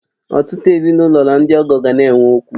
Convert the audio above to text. Ọtụtụ ezinụlọ na ndị ọgọ ga na-enwe okwu